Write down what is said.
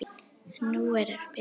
Nú er að spila út.